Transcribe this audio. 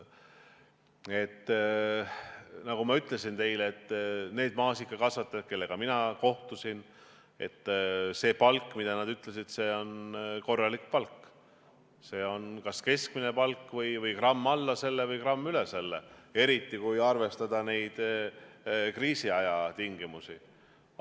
Nagu ma ütlesin teile, need maasikakasvatajad, kellega mina kohtusin, ütlesid, et see on korralik palk, see on kas keskmine palk või gramm alla selle või gramm üle selle, eriti kui arvestada kriisiaja tingimusi.